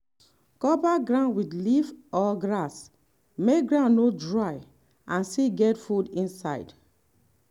cover ground with leaf or grass make ground no dry and still get food inside.